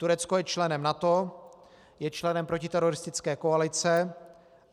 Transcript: Turecko je členem NATO, je členem protiteroristické koalice.